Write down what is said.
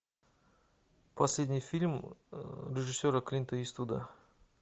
последний фильм режиссера клинта иствуда